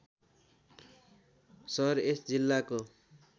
सहर यस जिल्लाको